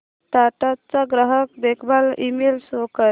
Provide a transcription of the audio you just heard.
टाटा चा ग्राहक देखभाल ईमेल शो कर